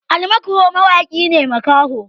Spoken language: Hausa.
Ali makho mawaki ne makaho